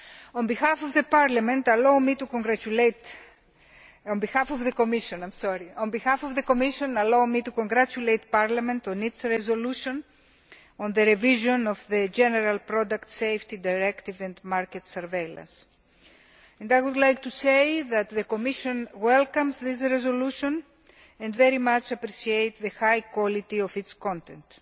On behalf of the Commission, allow me to congratulate Parliament on its resolution on the revision of the General Product Safety Directive and market surveillance. The Commission welcomes that resolution and very much appreciates the high quality of its content.